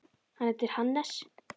Hann heitir Hannes.